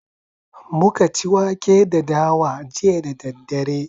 Muka ci wake da dawa jiya da daddare